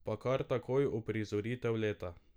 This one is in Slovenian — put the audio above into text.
Pa kar takoj uprizoritev leta.